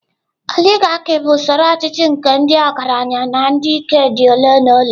Oligarkị bụ usoro ọchịchị nke ndị ọgaranya na ndị ike dị ole na ole.